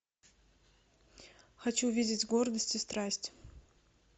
хочу увидеть гордость и страсть